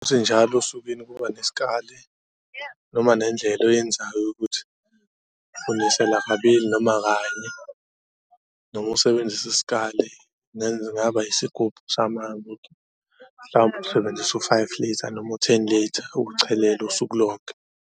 Ukuthi njalo osukwini kuba nesikali noma nendlela oyenzayo yokuthi unisela kabili noma kanye noma usebenzise isikali, kungaba isigubhu samanzi mhlawumbe usebenzisa u-five litha noma u-ten litha ukuchelela usuku lonke.